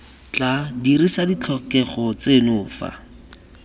tla dirisa ditlhokego tseno fa